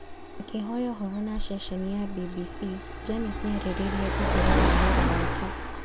Akĩhoya ũhoro na ceceni ya BBC Janice nĩarĩrĩirie ũhoro wa wĩra wake